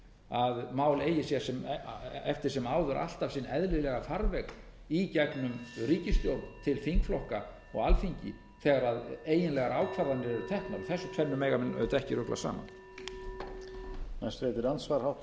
að mál eigi sér eftir sem áður alltaf sinn eðlilega farveg í gegnum ríkisstjórn til þingflokka og alþingi þegar eiginlegar ákvarðanir eru teknar þessu tvennu mega menn auðvitað ekki rugla saman